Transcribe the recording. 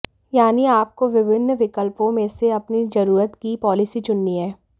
यानी आपको विभिन्न विकल्पों में से अपनी जरूरत की पॉलिसी चुननी है